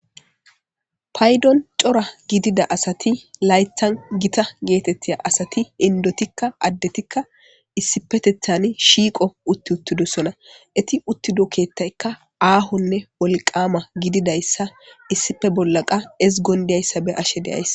Paydon cora gidida asati laythan gita geetettiya asati indotikka addetikka issipetethani shiiqo utti uttidosona eti uttido keettaykka aahonne wolqama gididayssa issife bollaqa ezgondiyayssa be ashe de7ays.